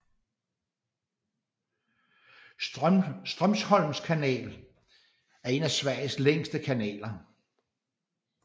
Strömsholms kanal er en af Sveriges længere kanaler